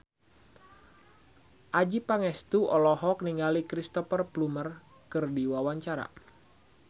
Adjie Pangestu olohok ningali Cristhoper Plumer keur diwawancara